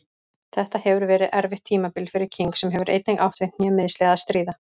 Þetta hefur verið erfitt tímabil fyrir King sem hefur einnig átt við hnémeiðsli að stríða.